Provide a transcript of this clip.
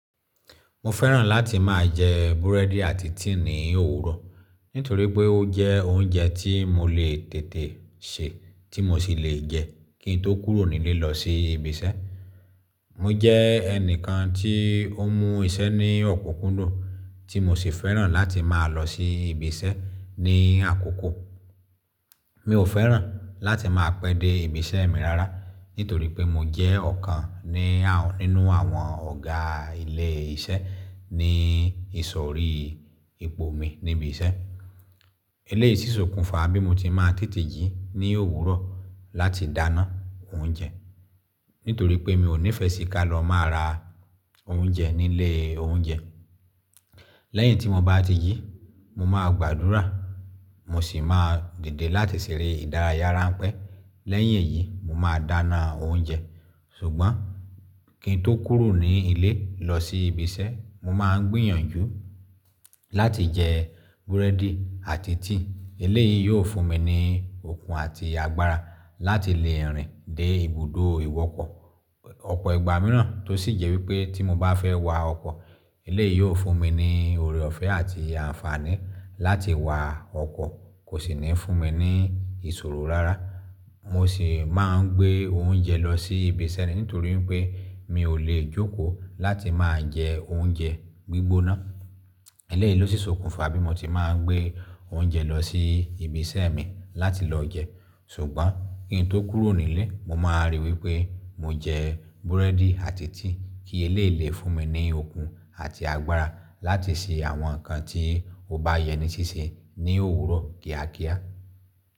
Mo fẹ́ràn láti máa jẹ búrẹ́dì àti tíì ní òwúrọ̀ nítorí pé ó jẹ́ oúnjẹ tí mo lè tètè se tí mo sì lè jẹ kín n tó kúrò nílé lọ sí ibi iṣẹ́. Mo jẹ́ ẹnìkan tí ó mú iṣẹ́ ní ọ̀kọ̀kùndùn tí mo sì fẹ́ràn láti máa lọ sí ibi iṣẹ́ ní àkókò. Mi ò fẹ́ràn láti máa pẹ́ dé ibi iṣẹ́ mi rárá nítorí pé mo jẹ́ ọ̀kan ní nínú àwọn ọ̀gá ilé iṣẹ́ ní ìsòrí ipo mi níbi iṣẹ́. Eléyìí ṣi sòkùnfà bí mo ti máa n tètè jí ní òwúrọ̀ láti dáná oúnjẹ nítorí pé mi ò nífẹ́ sì ká lọ máa ra oúnjẹ nílé oúnjẹ. Lẹ́yìn tí mo bá ti jí, mo máa gbàdúrà mo sì máa dìde láti ṣèrè ìdárayá ránpẹ́. Lẹ́yìn èyí, mo máa dáná oúnjẹ ṣùgbọ́n kín n tó kúrò nílé lọ sí ibi iṣẹ́, mo máa gbìyànjú láti jẹ búrẹ́dì àti tíì. Eléyìí yóò fún mi ní okun àti agbára láti lè rìn dé ibùdó ìwọkọ̀ ọ̀pọ̀ ìgbà mìíràn tó sì jẹ́ wípé tí mo bá fẹ́ wa ọkọ̀, eléyìí yóò fún mi ní ọ̀rẹ́ ọ̀fẹ́ àti àǹfààní láti wa ọkọ̀ kó sì ní fún mi ní ìṣòro rárá. Mo sì máa ń gbé oúnjẹ lọ sí ibi iṣẹ́ nítorí pé mi ò lè jókòó láti máa jẹ oúnjẹ gbígbóná. Eléyìí ló ṣòkùnfà bí mo ti máa ń gbé oúnjẹ lọ sí ibi iṣẹ́ mi láti lọ jẹ ṣùgbọ́n kín n tó kúrò nílé, mo máa rí i wípé mo jẹ búrẹ́dì àti tíì kí eléyìí lè fún mi ní okun àti agbára láti ṣe àwọn nǹkan tí ó bá yẹ ní ṣíṣe ní òwúrọ̀ kíákíá.